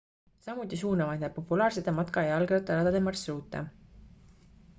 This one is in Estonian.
samuti suunavad need populaarsete matka ja jalgrattaradade marsruute